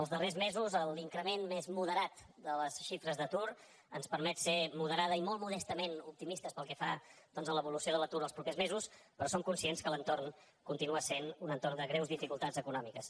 els darrers mesos l’increment més moderat de les xifres d’atur ens permet ser moderadament i molt modestament optimistes pel que fa a l’evolució de l’atur els propers mesos però som conscients que l’entorn continua sent un entorn de greus dificultats econòmiques